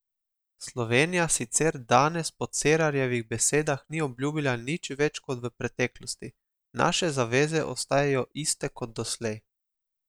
Slovenija sicer danes po Cerarjevih besedah ni obljubila nič več kot v preteklosti: "Naše zaveze ostajajo iste kot doslej.